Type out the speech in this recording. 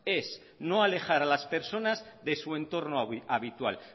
es no alejar a las personas de su entorno habitual